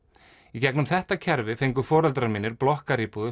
í gegnum þetta kerfi fengu foreldrar mínir blokkaríbúð